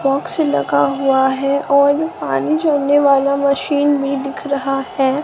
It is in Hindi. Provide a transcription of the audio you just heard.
बॉक्स लगा हुआ है और आने जाने वाला मशीन भी दिख रहा है।